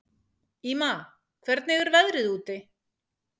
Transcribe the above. Ýma, hvernig er veðrið úti?